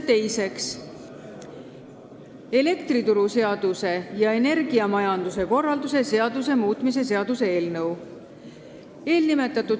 Teiseks, elektrituruseaduse ja energiamajanduse korralduse seaduse muutmise seaduse eelnõu.